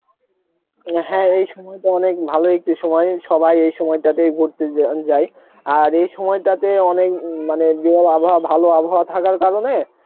অ্যাঁ হ্যাঁ এই সময় টা অনেক ভালো একটি সময় সবাই এই সময়টাতে যন~ যায়, আর এই সময়টা তে অনেক মানে দিনের আবহাওয়া ভালো আবহাওয়া থাকার কারণে